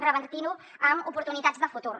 revertint ho en oportunitats de futur